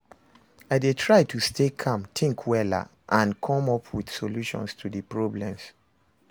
I dey try to stay calm, think wella and come up with solutions to di problems.